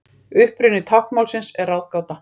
Uppruni táknmálsins er ráðgáta.